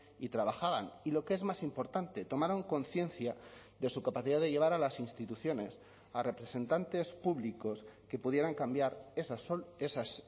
y trabajaban y lo que es más importante tomaron conciencia de su capacidad de llevar a las instituciones a representantes públicos que pudieran cambiar esas